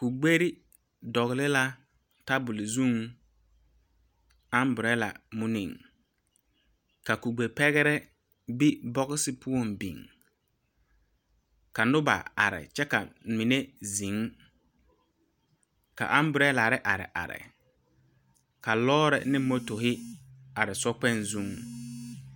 Kubeɛri dɔgele tabol zʋŋ katawie muni kubɛɛ pɛgere b la bɔɔse poɔ biŋ ka Noba are kyɛ ka mine zeŋ ka katawiiri are are ka lɔɔre ane motori are sokpoŋ. zʋŋ